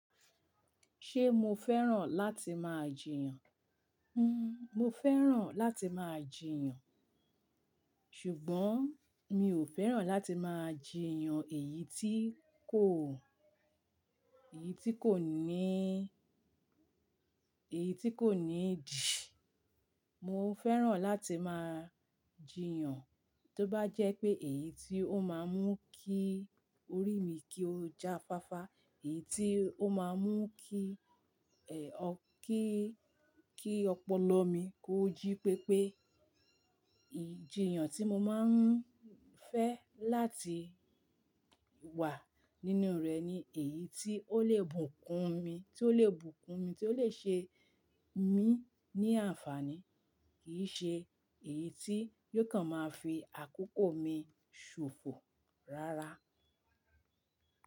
Ṣé mo fẹ́ràn láti máa jìyàn? Hmmm, mo fẹ́ràn láti máa jìyàn, ṣùgbọ́n mi ò fẹ́ràn láti máa jìyàn èyí tí kò, èyí tí kò ní, èyí tí kò ní idì. Mo fẹ́ràn láti máa jìyàn tó bá jẹ́ pé èyí tí ó máa mú kí orí mi kí ó ja fáfá, èyí tí ó máa mú kí, o, kí, kí ọpọlọ mi kó jí pépé. Ìjiyàn tí mo máa ń fẹ́ láti wà nínú rẹ̀ ni èyí tí ó lè bùkún mi, tí ó lè bùkún mi, tí ó lè ṣe mí ní àǹfààní, kì í ṣe èyí tí yóò kàn máa fi àkókò mi ṣòfò rárá.